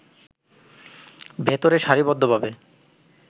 ভেতরে সারি বদ্ধ ভাবে